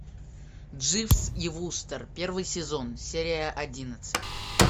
дживс и вустер первый сезон серия одиннадцать